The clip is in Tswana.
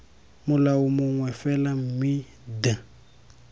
molao mongwe fela mme d